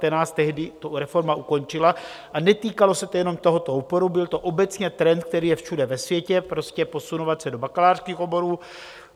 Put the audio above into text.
Tehdy to reforma ukončila a netýkalo se to jenom tohoto oboru, byl to obecně trend, který je všude ve světě, prostě posunovat se do bakalářských oborů.